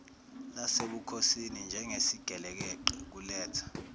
lasebukhosini njengesigelekeqe kuletha